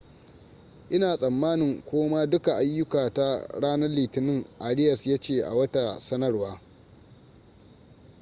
ina tsamanin koma duka ayyukata ranar litinin arias ya ce a wata sanarwa